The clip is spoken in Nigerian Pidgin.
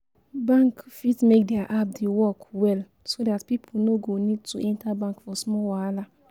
Bank fit make their app dey work well so dat pipo no go need to enter bank for small wahala